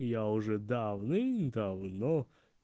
я уже давным давно